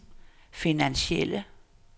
finansielle